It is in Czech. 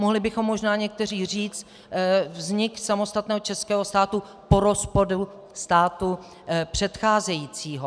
Mohli bychom možná někteří říci vznik samostatného českého státu po rozpadu státu předcházejícího.